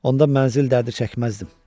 Onda mənzil dərdi çəkməzdim.